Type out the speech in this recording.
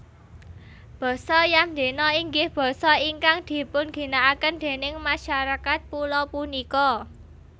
Basa Yamdena inggih basa ingkang dipunginakaken déning masarakat pulo punika